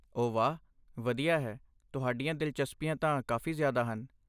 ਓਹ ਵਾਹ, ਵਧੀਆ ਹੈ, ਤੁਹਾਡੀਆਂ ਦਿਲਚਸਪੀਆਂ ਤਾਂ ਕਾਫ਼ੀ ਜ਼ਿਆਦਾ ਹਨ।